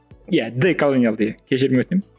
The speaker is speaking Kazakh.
иә деколониялды иә кешірім өтінемін